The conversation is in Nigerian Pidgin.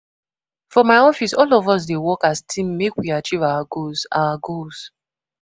For my office, all of us dey work as team make we achieve our goals. our goals.